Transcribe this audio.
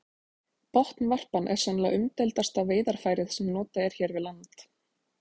Botnvarpan er sennilega umdeildasta veiðarfærið sem notað er hér við land.